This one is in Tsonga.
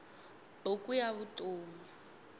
buku ya vutom